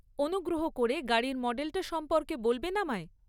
অনুগ্রহ করে গাড়ির মডেলটা সম্পর্কে বলবেন আমায়।